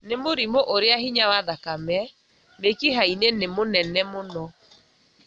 nĩ mũrimũ ũrĩa hinya wa thakame mĩkiha-inĩ nĩ mũnene mũno,